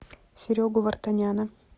серегу вартаняна